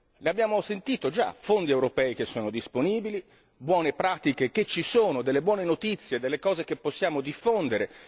L'abbiamo già sentito i fondi europei sono disponibili, le buone pratiche ci sono, delle buone notizie, delle cose che possiamo diffondere.